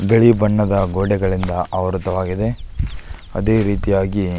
ಬಿಳಿ ಬಣ್ಣದ ಗೋಡೆಗಳಿಂದ ಆವೃತವಾಗಿದೆ ಅದೆ ರೀತಿಯಾಗಿ --